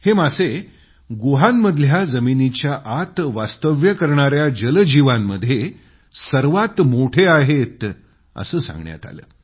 हे मासे गुहांमधल्या जमिनीच्या आत वास्तव्य करणाया जलजीवांमध्ये सर्वात मोठे आहेत असं सांगण्यात आलं